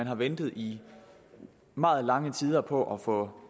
har ventet i meget lange tider på at få